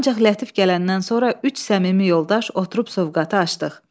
Ancaq Lətif gələndən sonra üç səmimi yoldaş oturub sovqətı açdıq.